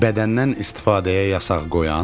Bədəndən istifadəyə yasaq qoyan.